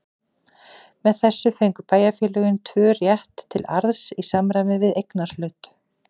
Með þessu fengu bæjarfélögin tvö rétt til arðs í samræmi við eignarhlut.